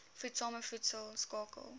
voedsame voedsel skakel